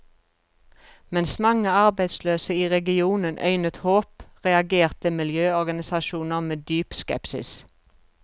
Mens mange arbeidsløse i regionen øynet håp, reagerte miljøorganisasjoner med dyp skepsis.